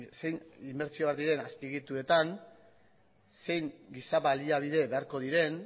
zein inbertsioak diren azpiegituretan zein giza baliabide beharko diren